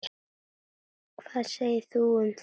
Hvað segir þú um þennan?